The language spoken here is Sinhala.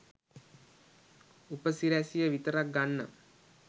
උපසිරැසිය විතරක් ගන්නම්